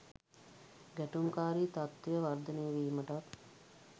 ගැටුම්කාරී තත්ත්වය වර්ධනය වීමටත්